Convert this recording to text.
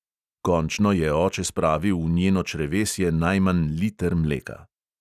Končno je oče spravil v njeno črevesje najmanj liter mleka.